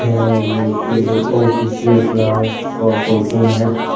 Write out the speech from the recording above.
यह एक ऑफिस या क्लास का फोटो है।